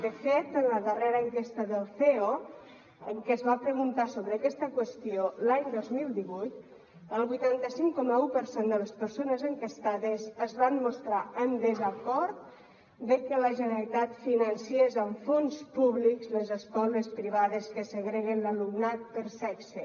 de fet en la darrera enquesta del ceo en què es va preguntar sobre aquesta qüestió l’any dos mil divuit el vuitanta cinc coma un per cent de les persones enquestades es van mostrar en desacord de que la generalitat financés amb fons públics les escoles privades que segreguen l’alumnat per sexe